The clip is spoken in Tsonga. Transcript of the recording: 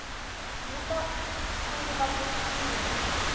wu ta sungula ku tirha